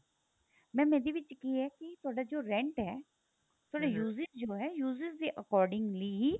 mam ਇਹਦੇ ਵਿੱਚ ਕੀ ਏ ਕੀ ਤੁਹਾਡਾ ਜੋ rent ਏ ਤੁਹਾਡਾ uses ਜੋ ਹੈ uses ਦੇ accordingly ਹੀ